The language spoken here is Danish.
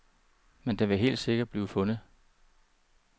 Men den vil helt sikkert blive fundet.